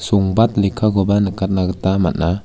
songbad lekkakoba nikatna gita man·a.